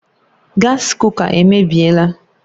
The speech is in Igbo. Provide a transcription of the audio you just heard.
Gaasi kuka emebiela